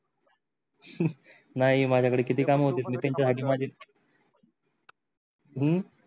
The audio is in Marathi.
नाही माझ्या घरी किती काम होते नितीनच्या घरी माझे हु